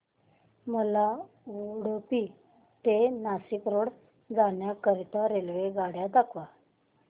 मला उडुपी ते नाशिक रोड जाण्या करीता रेल्वेगाड्या दाखवा